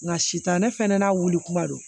Nka sitan ne fana n'a wuli kuma don